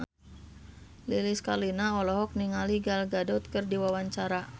Lilis Karlina olohok ningali Gal Gadot keur diwawancara